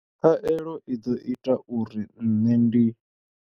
Khaelo i ḓo ita uri nṋe ndi.